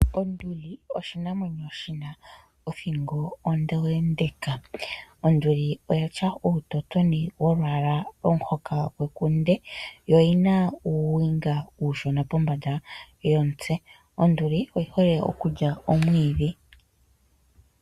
Onduli oshinamwenyo shi na othingo ondeendeka. Onduli oya tya uutotoni wolwaala lomuhoka gwekunde, yo oyi na uuwinga uushoka pombanda yomutse. Onduli oyi hole okulya omwiidhi.